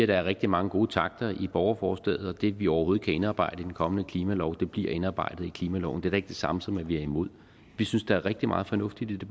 der er rigtig mange gode takter i borgerforslaget og det vi overhovedet kan indarbejde i den kommende klimalov bliver indarbejdet i klimaloven det er da ikke det samme som at vi er imod vi synes der er rigtig meget fornuft i det